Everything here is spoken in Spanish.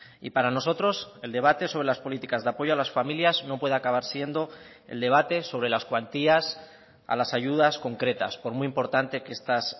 y para nosotros el debate sobre las políticas de apoyo a las familias no puede acabar siendo el debate sobre las cuantías a las ayudas concretas por muy importante que estas